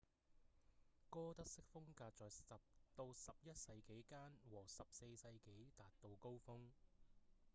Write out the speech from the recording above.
哥德式風格在10到11世紀間和14世紀達到高峰